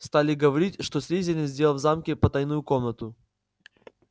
стали говорить что слизерин сделал в замке потайную комнату